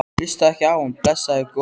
Hlustaðu ekki á hann, blessaður góði.